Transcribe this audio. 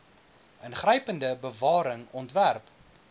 ingrypende bewaring ontwerp